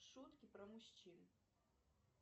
шутки про мужчин